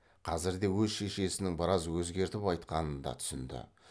қазірде өз шешесінің біраз өзгертіп айтқанын да түсінді